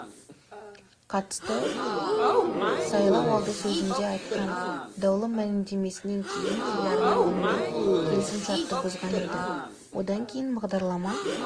қатысты сайлауалды сөзінде айтқан даулы мәлімдемесінен кейін телеарна онымен келісімшартты бұзған еді одан кейін бағдарлама